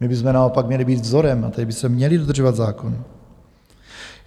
My bychom naopak měli být vzorem, a tedy bychom měli dodržovat zákon.